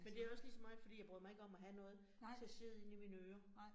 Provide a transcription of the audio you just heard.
Men det jo også ligeså meget, jeg bryder mig ikke om at have noget til at sidde inde i mine ører